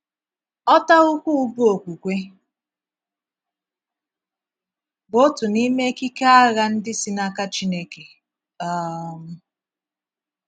“ Ọ̀tà ukwu bụ́ okwukwe ” bụ òtù n’ime èkiké àgha ndị si n’aka Chineke um.